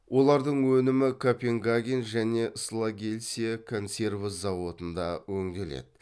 олардың өнімі копенгаген және слагельсе консерва зауыттарында өңделеді